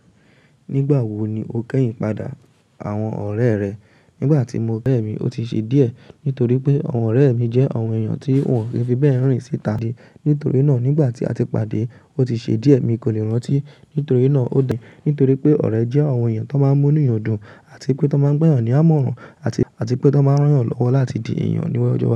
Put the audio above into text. Nígbà wo ni o kẹ́yìn padà àwọn ọ̀rẹ́ rẹ? Nígbà tí mo bẹ́ẹ̀ mí, ó ti ṣe díẹ̀ nítorí pé àwọn ọ̀rẹ́ mi jẹ́ àwọn èèyàn tí wọn ò ki fi bẹ́ẹ̀ rìn erin síta dé. Nítorí náà, nígbà tí a ti pàdé, ó ti ṣe díẹ̀ mi kò lè rántí. Nítorí náà, ó dà mí nítorí pé ọ̀rẹ́ jẹ́ àwọn èèyàn tó máa n múni yọdùn àti pé tó máa n gbẹ́yàn ní àmọ̀ràn àti pé tó máa n rán yàn lọ́wọ́ láti di èèyàn lawujo.